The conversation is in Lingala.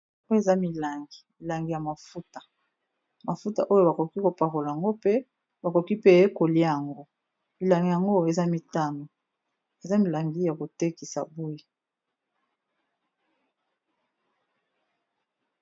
Oyo eza milangi, milangi ya mafuta mafuta oyo bakoki ko pakola yango mpe ba koki pe kolia yango. Milangi yango eza mitano, eza milangi ya ko tekisa boye.